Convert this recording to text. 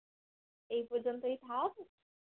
এই পযন্তই থাক